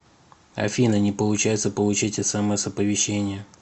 афина не получается получить смс оповещения